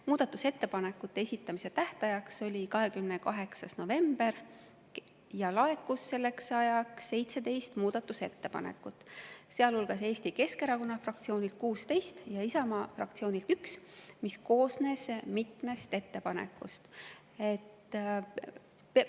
Muudatusettepanekute esitamise tähtajaks oli 28. november ja selleks ajaks laekus 17 muudatusettepanekut, sealhulgas Eesti Keskerakonna fraktsioonilt 16 ja Isamaa fraktsioonilt 1 ettepanek, mis koosnes mitmest ettepanekust.